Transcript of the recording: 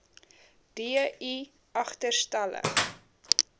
d i agterstallig